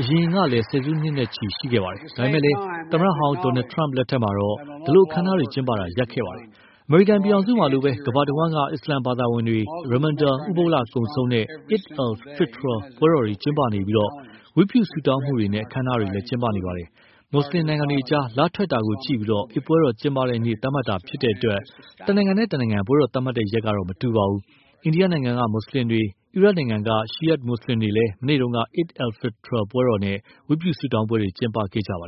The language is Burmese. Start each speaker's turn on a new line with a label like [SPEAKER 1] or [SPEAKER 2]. [SPEAKER 1] အရင်ကလည်း ဆယ်စုနှစ်ချီ ရှိခဲ့ပါတယ်။ ဒါပေမယ့်လည်း သမ္မတဟောင်း Donald Trump လက်ထက်ကတော့ ဒီလို အခမ်းအနားတွေ ကျင်းပတာ ရပ်နားခဲ့ပါတယ်။ အမေရိကန်ပြည်ထောင်စုမှာလိုပဲ ကမ္ဘာတဝှမ်းက အစ္စလမ်ဘာသာဝင်တွေ ရမ်မန်ဒန် ဥပုသ်လ ကုန်ဆုံးတဲ့ Eid al-Fitr ပွဲတော်တွေ ကျင်းပနေပြီး ဝတ်ပြုဆုတောင်းပွဲနဲ့ အခမ်းအနားတွေ ကျင်းပနေကြပါတယ်။ မူဆလင်နိုင်ငံတွေကြား လထွက် တာကို ကြည့်ပြီး အိဒ်ပွဲတော်ကျင်းပတဲ့နေ့ သတ်မှတ်တာဖြစ်တဲ့အတွက် တနိုင်ငံနဲ့ တနိုင်ငံ ပွဲတော်သတ်မှတ်တဲ့ရက်တော့ မတူပါဘူး။ အိန္ဒိယနိုင်ငံက မူဆလင်တွေ၊ အီရတ်နိုင်ငံက Shiites မူဆလင်တွေလည်း မနေ့က Eid al-Fitr ပွဲတော်နဲ့ ဝတ်ပြုဆုတောင်းပွဲတွေ ကျင်းပကြပါ